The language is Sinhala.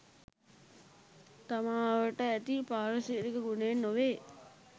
තමා අවට ඇති පාරිසරික ගුණයෙන් නොවේ.